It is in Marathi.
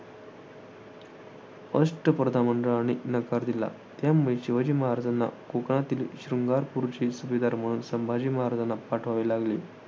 अष्टप्रधानमंडळाने नकार दिला. त्यामुळे शिवाजी महाराजांना कोकणातील शृंगारपूरचे सुभेदार म्हणून संभाजी महाराजांना पाठवावे लागले.